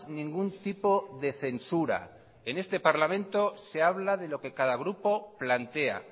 ningún tipo de censura en este parlamento se habla de lo que cada grupo plantea